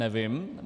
Nevím.